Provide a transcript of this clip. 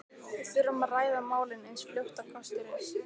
Við þurfum að ræða málin eins fljótt og kostur er.